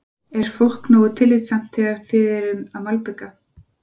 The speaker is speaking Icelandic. Er fólk nógu tillitsamt þegar þið eruð að malbika?